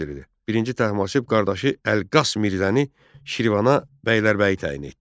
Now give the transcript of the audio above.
I Təhmasib qardaşı Əlqas Mirzəni Şirvana bəylərbəyi təyin etdi.